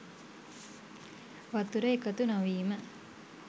වතුර එකතු නොවීම